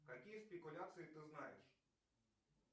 какие спекуляции ты знаешь